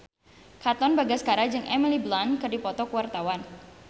Katon Bagaskara jeung Emily Blunt keur dipoto ku wartawan